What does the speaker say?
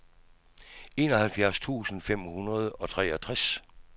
enoghalvfjerds tusind fem hundrede og treogtres